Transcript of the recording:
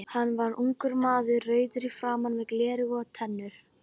Hann var ungur maður, rauður í framan með gular tennur.